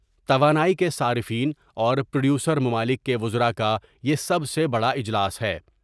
توانائی کے صارفین اور پروڈیوسر ممالک کے وزراء کا یہ سب سے بڑا اجلاس ہے ۔